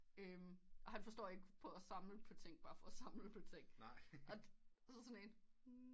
Og han forstår ikke på at samle på ting bare for at samle på ting og og så sådan en